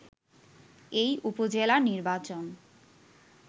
এই উপজেলা নির্বাচন